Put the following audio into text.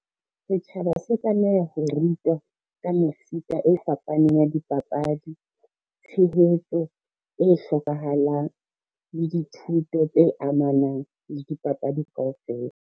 Setjhaba se tlameha ho rutwa ka mefuta e fapaneng ya dipapadi, tshehetso e hlokahalang le dithuto tse amanang le dipapadi kaofela.